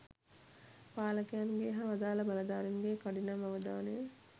පාලකයන්ගේ හා අදාල බලධාරීන්ගේ කඩිනම් අවධානය